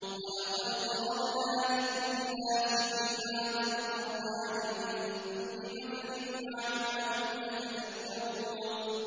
وَلَقَدْ ضَرَبْنَا لِلنَّاسِ فِي هَٰذَا الْقُرْآنِ مِن كُلِّ مَثَلٍ لَّعَلَّهُمْ يَتَذَكَّرُونَ